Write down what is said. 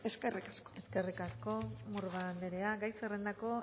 eskerrik asko eskerrik asko murga anderea gai zerrendako